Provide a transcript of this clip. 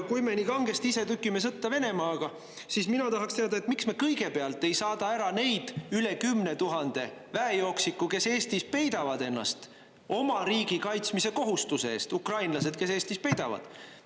Kui me nii kangesti ise tükime sõtta Venemaaga, siis mina tahaksin teada, miks me kõigepealt ei saada ära neid üle 10 000 väejooksiku, kes Eestis peidavad ennast oma riigi kaitsmise kohustuse eest, ukrainlased, kes Eestis peidavad.